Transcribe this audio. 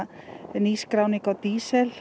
nýskráning á